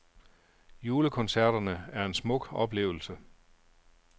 Julekoncerterne er en smuk oplevelse.